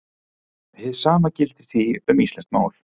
Hið sama gildir því um íslenskt mál.